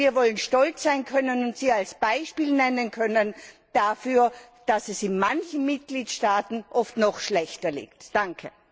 Wir wollen stolz sein können und sie als Beispiel nennen können dafür, dass es in manchen Mitgliedstaaten oft noch schlechter darum bestellt ist.